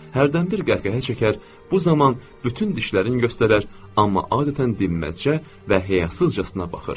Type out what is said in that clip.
Hərdən bir qəhqəhə çəkər, bu zaman bütün dişlərini göstərər, amma adətən dinməzcə və həyasızcasına baxır.